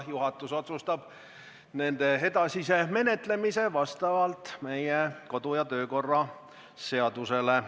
Juhatus otsustab nende edasise menetlemise vastavalt meie kodu- ja töökorra seadusele.